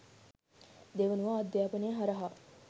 දෙවනුව අධ්‍යාපනය හරහා